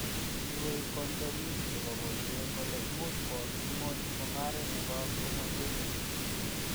Inywei ki ndonik che bo boisie kole moch kowok ng'ony mong'aree ne bo komosweek.